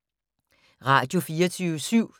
Radio24syv